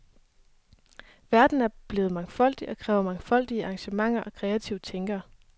Verden er blevet mangfoldig og kræver mangfoldige arrangementer og kreative tænkere.